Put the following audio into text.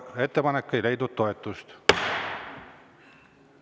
Ettepanek ei leidnud toetust.